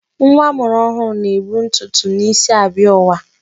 Nwa amụrụ ọhụrụ na-ebu ntụtụ n'isi abịa ụwa.